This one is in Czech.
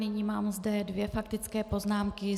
Nyní mám zde dvě faktické poznámky.